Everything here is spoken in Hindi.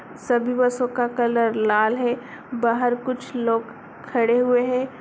सभी बसों का कलर लाल है बाहर कुछ लोग खड़े हुए हैं।